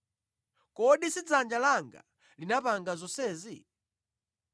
Kodi si dzanja langa linapanga zonsezi?’